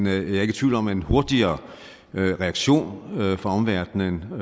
er ikke i tvivl om at en hurtigere reaktion fra omverdenen og